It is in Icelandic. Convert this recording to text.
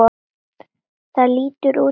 Það lítur út fyrir það